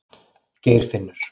Geirfinnur